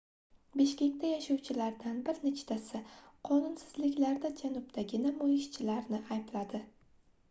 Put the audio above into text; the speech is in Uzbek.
bishkekda yashovchilardan bir nechtasi qonunsizliklarda janubdagi namoyishchilarni aybladi